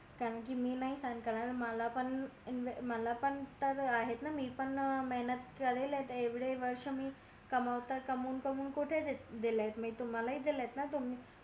करणं कि मी नाही सहन करत मला पण मला पण तर आहे ना मी पण मेहनत करेल एवढे वर्ष मी कमवता कमवून कमवून कुठे दिले मी तुम्हला दिले त ना